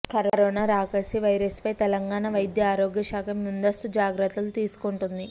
corona రాకాసి వైరస్పై తెలంగాణ వైద్యారోగ్య శాఖ ముందస్తు జాగ్రత్తలు తీసుకుంటోంది